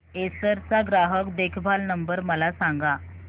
Acer चा ग्राहक देखभाल नंबर मला सांगा